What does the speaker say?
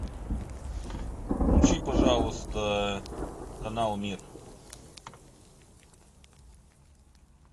включи пожалуйста канал мир